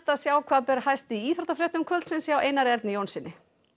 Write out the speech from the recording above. sjá hvað ber hæst í íþróttafréttum kvöldsins hjá Einari Erni Jónssyni